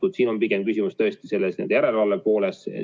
Kuid siin on pigem küsimus järelevalve pooles.